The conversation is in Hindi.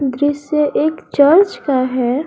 दृश्य एक चर्च का है।